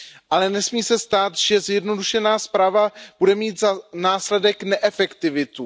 Ale nesmí se stát, že zjednodušená správa bude mít za následek neefektivitu.